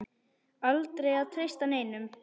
Aldrei að treysta neinum.